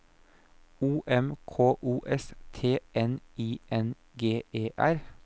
O M K O S T N I N G E R